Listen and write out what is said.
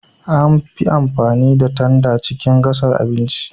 An fi amfani da tanda a cikin gasa abinci.